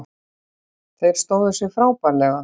Þeir stóðu sig frábærlega